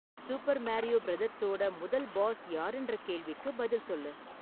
super Mario பிரதர்ஸோட முதல் boss யாருன்ற கேள்விக்கு பதில் சொல்லு